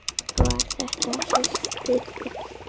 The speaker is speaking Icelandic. Var þetta systir þín?